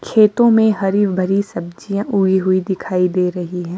खेतों में हरी भरी सब्जियां उई हुई दिखाई दे रही हैं।